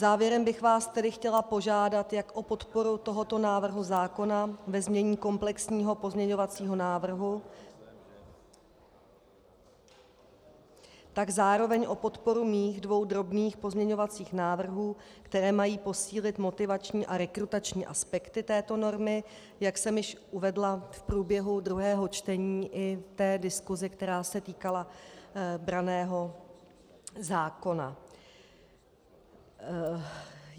Závěrem bych vás tedy chtěla požádat jak o podporu tohoto návrhu zákona ve znění komplexního pozměňovacího návrhu, tak zároveň o podporu mých dvou drobných pozměňovacích návrhů, které mají posílit motivační a rekrutační aspekty této normy, jak jsem již uvedla v průběhu druhého čtení i v diskusi, která se týkala branného zákona.